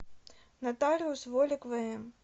нотариус волик вм